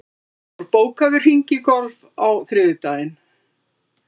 Valdór, bókaðu hring í golf á þriðjudaginn.